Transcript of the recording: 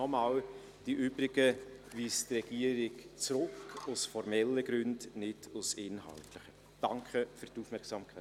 Nochmals: Die übrigen Planungserklärungen weist die Regierung aus formellen, nicht aus inhaltlichen Gründen zurück.